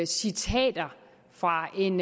citater fra en